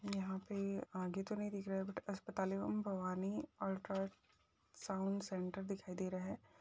यह पे आगे तो नहीं दिख रहा है बट अस्पताल एवं भवानी अल्ट्रसाउन्ड सेंटर दिखाई दे रहा हैं।